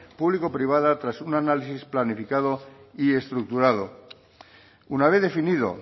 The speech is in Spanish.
público privada tras un análisis planificado y estructurado una vez definido